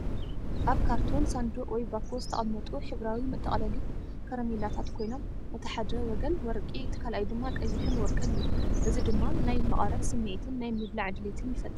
ኣብ ካርቶን ሳንዱቕ ወይ ባኮ ዝተቐመጡ ሕብራዊ መጠቕለሊ ካራሜላታት ኮይኖም፡ እቲ ሓደ ወገን ወርቂ፡ እቲ ካልኣይ ድማ ቀይሕን ወርቅን እዩ። እዚ ድማ ናይ መቐረት ስምዒትን ናይ ምብላዕ ድሌትን ይፈጥር።